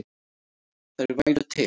Þær væru til.